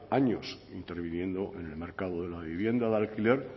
años interviniendo en el mercado de la vivienda de alquiler